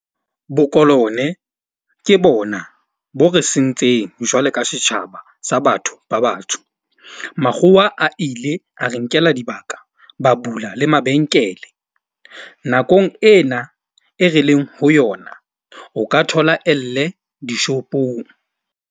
Bokolone ke bona bo re sentseng jwale ka setjhaba sa batho ba batsho. Makgowa a ile a re nkela dibaka ba bula le mabenkele. Nakong ena e re leng ho yona o ka thola elle di-shop-ong.